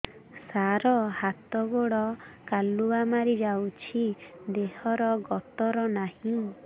ସାର ହାତ ଗୋଡ଼ କାଲୁଆ ମାରି ଯାଉଛି ଦେହର ଗତର ନାହିଁ